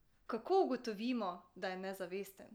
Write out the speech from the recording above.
Kako ugotovimo, da je nezavesten?